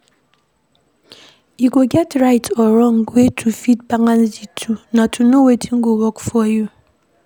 E no get right or wrong way to fit balance di two, na to know wetin go work for you